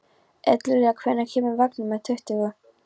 Eldlilja, hvenær kemur vagn númer tuttugu?